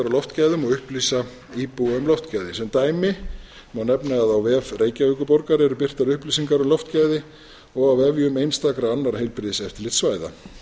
og upplýsa íbúa um loftgæði sem dæmi má nefna að á vef reykjavíkurborgar eru birtar upplýsingar um loftgæði og á vefjum einstakra annarra heilbrigðiseftirlitssvæða